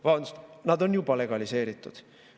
Vabandust, nad on juba legaliseeritud.